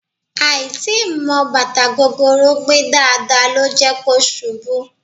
Àì tíì mọ bàtà gogoro gbé dáadáa ló jẹ́ kó ṣubú